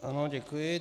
Ano, děkuji.